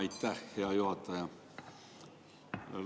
Aitäh, hea juhataja!